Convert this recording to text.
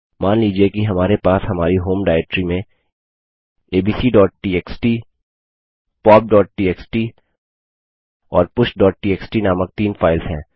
मान लीजिए कि हमारे पास हमारी होम डाइरेक्टरी में abcटीएक्सटी popटीएक्सटी और pushटीएक्सटी नामक तीन फाइल्स हैं